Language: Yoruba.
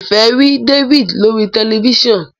Ifẹ rí David lórí tẹlifísàn.